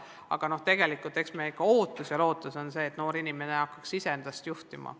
Aga tegelikult on meie ootus ja lootus ikkagi see, et noor inimene hakkaks iseennast juhtima.